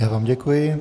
Já vám děkuji.